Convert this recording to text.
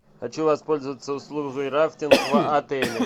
хочу воспользоваться услугой рафтинг в отеле